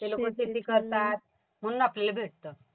ते लोकं शेती करतात म्हणून आपल्याला भेटतं.